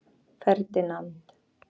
Ferdinand